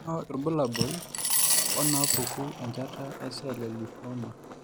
Kainyio irbulabul onaapuku enchata ecell lymphoma?